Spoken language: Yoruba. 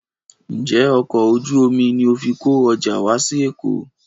Ǹjẹ́ ọkọ̀ ojú omi ni o fi kó ọjà wá sí Èkó?